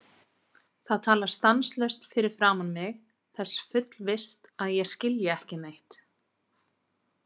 Það talar stanslaust fyrir framan mig þess fullvisst að ég skilji ekki neitt.